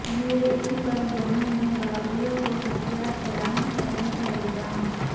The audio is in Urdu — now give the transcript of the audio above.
یو اے ای پر یمن میں باغیوں کو ہتھیار فراہم کرنے کا الزام